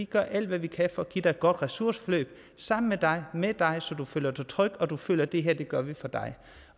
gøre alt hvad vi kan for at give dig et godt ressourceforløb sammen med dig med dig så du føler dig tryg og du føler at det her gør vi for dig